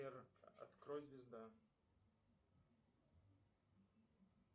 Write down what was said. сбер открой звезда